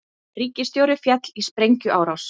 Ríkisstjóri féll í sprengjuárás